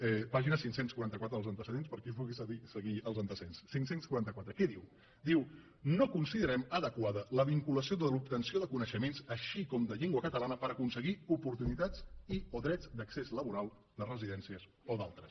pàgina cinc cents i quaranta quatre dels antecedents per a qui vulgui seguir els antecedents cinc cents i quaranta quatre què diu diu no considerem adequada la vinculació de l’obtenció de coneixements així com de llengua catalana per aconseguir oportunitat i o drets d’accés laboral de residències o d’altres